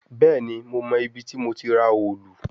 Bẹẹni, Mo mọ ibiti mo ti ra òòlù